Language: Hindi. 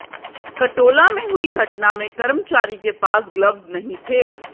कटौला में हुई घटना में कर्मचारी के पास ग्लव्ज नहीं थे